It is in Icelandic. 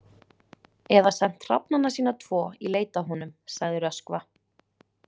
Eða sent hrafnana sína tvo í leit að honum, sagði Röskva.